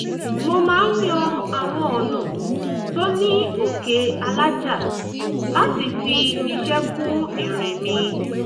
mo máa ń yan àwọn ọ̀nà tó ní òkè alájà láti fi iṣẹ́ kún ìrìn mi